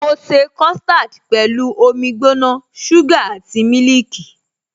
Mo ṣe custard pẹ̀lú omi gbóná, suga àti mílìkì.